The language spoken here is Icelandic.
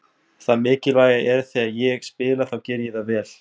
Það mikilvæga er að þegar ég spila þá geri ég það vel.